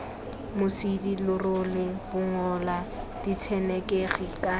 mosidi lerole bongola ditshenekegi kana